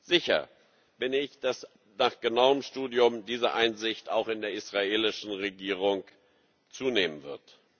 Sicher bin ich, dass nach genauem Studium diese Einsicht auch in der israelischen Regierung zunehmen wird.